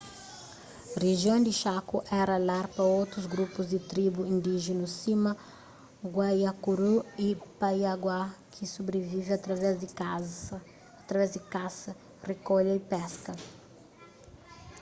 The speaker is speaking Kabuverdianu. rijion di chaco éra lar pa otus grupus di tribu indíjenu sima guaycurú y payaguá ki sobrivive através di kasa rikolha y peska